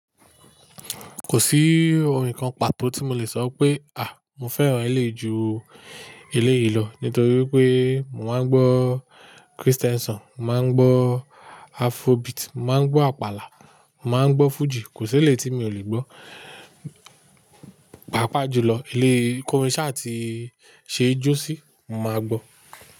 Kò sí ohun kan pàtó tí mo lè sọ pé à, mo fẹ́ràn eléyìí ju eléyìí lọ nítorí pé mo máa ń gbọ́ Kristẹ́n sọ̀n, màá ń gbọ́ Afrobeat, màá ń gbọ́ Àpàlà, màá ń gbọ́ Fuji. Kò sí eléyìí tí mi ò lè gbọ́. Paapaa jùlọ ilé kórin ṣa tí ṣe jó sí, màá gbọ́